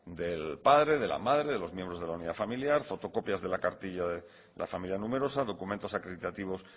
del padre de la madre de los miembros de la unidad familiar fotocopias de la cartilla de la familia numerosa documentos acreditativos